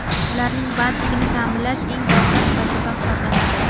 Ularning bandligini taʼminlash eng dolzarb vazifa hisoblanadi.